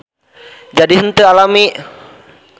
Jadi henteu alami.